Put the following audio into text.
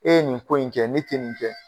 E ye nin ko in kɛ ne tɛ nin kɛ.